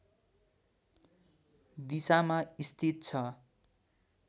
दिशामा स्थित छ